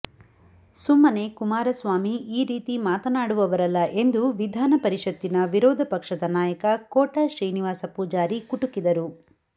ಸುಮ್ಮನೆ ಕುಮಾರಸ್ವಾಮಿ ಈ ರೀತಿ ಮಾತನಾಡುವವರಲ್ಲ ಎಂದು ವಿಧಾನ ಪರಿಷತ್ತಿನ ವಿರೋಧ ಪಕ್ಷದ ನಾಯಕ ಕೋಟ ಶ್ರೀನಿವಾಸ ಪೂಜಾರಿ ಕುಟುಕಿದರು